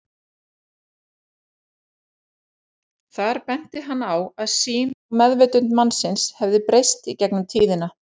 Fyrirhuguð lendingarsvæði könnunarfara á Mars hafa hingað til verið tiltölulega víðfeðm.